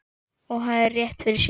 Og hafði rétt fyrir sér.